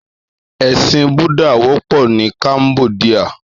Èsín bùdá wòpò ni Kámbòdiá